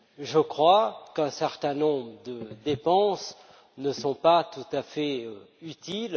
Je crois qu'un certain nombre de dépenses ne sont pas tout à fait utiles.